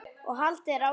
og haldið er áfram.